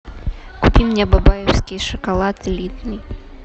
купи мне бабаевский шоколад элитный